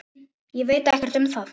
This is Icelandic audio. Ég veit ekkert um það?